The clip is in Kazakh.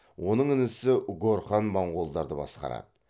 оның інісі горхан монғолдарды басқарады